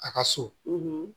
A ka so